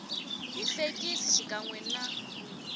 hi fekisi xikan we na